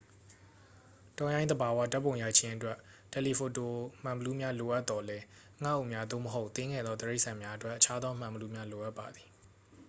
တောရိုင်းသဘာဝဓာတ်ပုံရိုက်ခြင်းအတွက် တယ်လီဖိုတိုမှန်ဘီလူးများလိုအပသော်လည်း ငှက်အုပ်များ သို့မဟုတ် သေးငယ်သောတိရစ္ဆာန်များအတွက် အခြားသောမှန်ဘီလူးများလိုအပ်ပါသည်